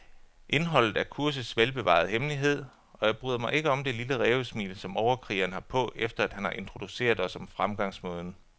Indholdet er kursets velbevarede hemmelighed, og jeg bryder mig ikke om det lille rævesmil, som overkrigeren har på, efter han har introduceret os om fremgangsmåden.